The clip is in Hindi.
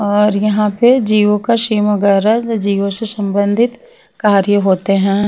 और यहां पे जिओ का सिम वगैरा जिओ से संबंधित कार्य होते है।